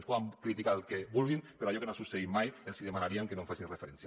ens poden criticar el que vulguin però d’allò que no ha succeït mai els demanaríem que no hi facin referència